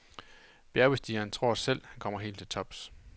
Bjergbestigeren tror selv, han kommer helt til tops.